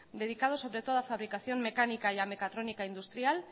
dedicados sobre todo a fabricación mecánica y a mecatrónica industrial